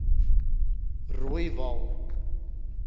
rooiwal